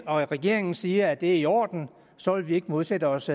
og regeringen siger at det er i orden så vil vi ikke modsætte os